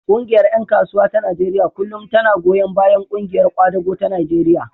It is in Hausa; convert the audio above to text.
Ƙungiyar ƴan kasuwa ta Najeriya kullum tana goyon bayan ƙungiyar ƙwadago ta Najeriya.